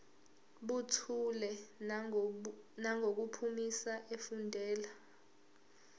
buthule nangokuphimisa efundela